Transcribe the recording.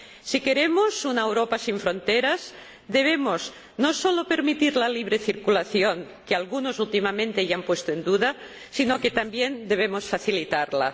Si queremos una Europa sin fronteras, no solo debemos permitir la libre circulación —que algunos últimamente ya han puesto en duda—, sino que también debemos facilitarla.